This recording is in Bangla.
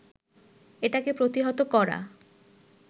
এটাকে প্রতিহত করা